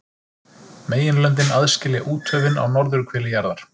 Meginlöndin aðskilja úthöfin á norðurhveli jarðar.